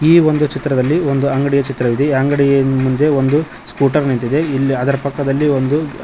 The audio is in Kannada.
ಈ ಒಂದು ಚಿತ್ರದಲ್ಲಿ ಒಂದು ಅಂಗಡಿಯ ಚಿತ್ರ ಇದೆ ಅಂಗಡಿ ಮುಂದೆ ಒಂದು ಸ್ಕೂಟರ್ ನಿಂತಿದೆ ಇಲ್ಲಿ ಅದರ ಪಕ್ಕದಲ್ಲಿ ಒಂದು--